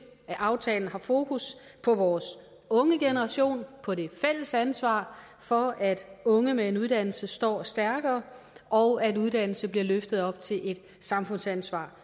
at aftalen har fokus på vores unge generation og på det fælles ansvar for at unge med en uddannelse står stærkere og at uddannelse bliver løftet op til et samfundsansvar